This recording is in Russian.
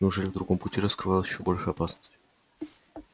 неужели в другом пути скрывалась ещё большая опасность